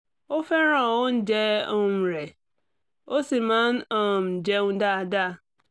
ó fẹ́ràn oúnjẹ um rẹ̀ ó sì máa ń um jẹun dáadáa